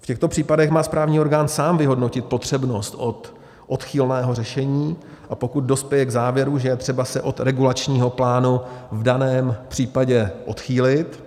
V těchto případech má správní orgán sám vyhodnotit potřebnost odchylného řešení, a pokud dospěje k závěru, že je třeba se od regulačního plánu v daném případě odchýlit,